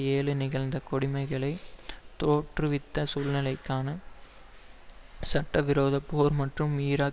ஏழு நிகழ்ந்த கொடுமைகளை தோற்றுவித்த சூழ்நிலைக்கான சட்ட விரோதப்போர் மற்றும் ஈராக்